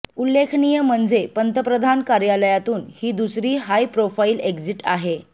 उल्लेखनीय म्हणजे पंतप्रधान कार्यालयातून ही दुसरी हायप्रोफाईल एक्झिट आहे